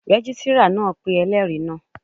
Rẹ́gísírà náà pé ẹlẹ́rìí náà